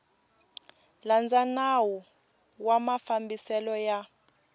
landza nawu wa mafambiselo ya